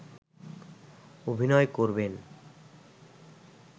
অভিনয় করবেন